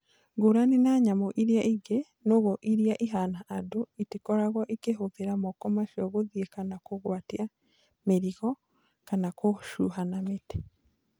Ngũrani na nyamũ iria ingĩ, nũgũ iria ihana andũ itikoragwo ikĩhũthĩra moko macio gũthii kana kũgwatia mĩrigo kana gũcuha na mĩtĩ.